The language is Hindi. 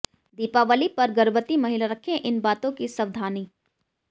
दीपावली पर गर्भवती महिलाएं रखें इन बातों की सवधानी